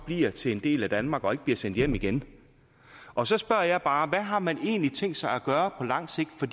bliver til en del af danmark og ikke bliver sendt hjem igen og så spørger jeg bare hvad har man egentlig tænkt sig at gøre på lang sigt for